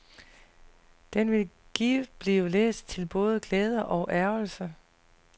Den vil givet blive læst til både glæde og ærgrelse.